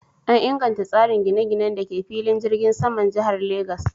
An inganta tsarin gine-ginen da ke filin jirgin saman jihar Lagas.